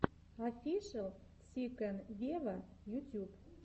офишел си кэн вево ютьюб